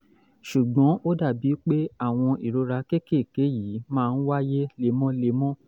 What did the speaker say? ṣùgbọ́n ó dàbí pé àwọn ìrora kéékèèké yìí máa ń wáyé lemọ́lemọ́